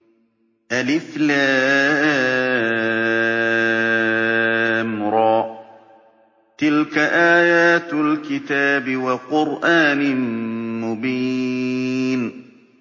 الر ۚ تِلْكَ آيَاتُ الْكِتَابِ وَقُرْآنٍ مُّبِينٍ